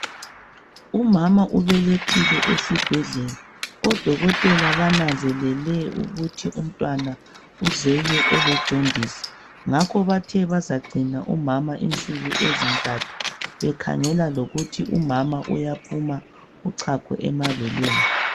Umama ubelethile esibhedlela odokotela bananzelele ukuthi umntwana uzelwe ele jondisi ngakho bathe bazagcina umama insuku ezintathu bekhangela lokuthi umama uyaphuma uchago emabeleni.